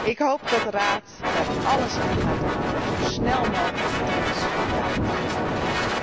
Ik hoop dat de Raad er alles aan gaat doen om zo snel mogelijk met ons rond de tafel te gaan zitten.